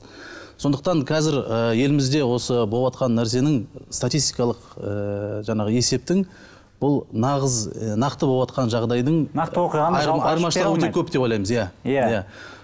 сондықтан қазір ы елімізде осы боватқан нәрсенің статистикалық ыыы жаңағы есептің бұл нағыз нақты боватқан жағдайдың айырмашылығы өте көп деп ойламыз иә иә